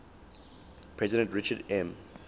president richard m